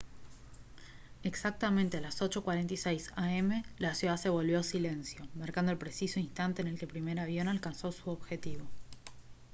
exactamente a las 8:46 a m la ciudad se volvió silencio marcando el preciso instante en el que el primer avión alcanzó su objetivo